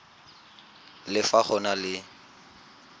le fa go na le